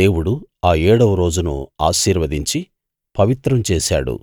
దేవుడు ఆ ఏడవ రోజును ఆశీర్వదించి పవిత్రం చేశాడు